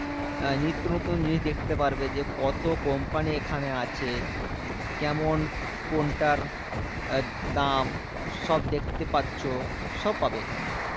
আহ নিত্যনতুন জিনিস দেখতে পারবে যে, কত company এখানে আছে? কেমন কোনটার আহ দাম সব দেখতে পাচ্ছো? সব পাবে এখানে।